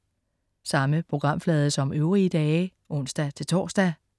Samme programflade som øvrige dage (ons-tors)